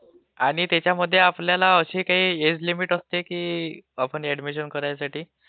आणि त्याच्यामध्ये आपल्याला काही एज लिमिट असते की आपण ऍडमिशन करायसाठी